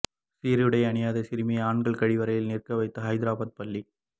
சீருடை அணியாத சிறுமியை ஆண்கள் கழிவறையில் நிற்க வைத்த ஹைதராபாத் பள்ளி